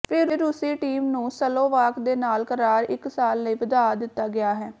ਫਿਰ ਰੂਸੀ ਟੀਮ ਨੂੰ ਸਲੋਵਾਕ ਦੇ ਨਾਲ ਕਰਾਰ ਇਕ ਸਾਲ ਲਈ ਵਧਾ ਦਿੱਤਾ ਗਿਆ ਹੈ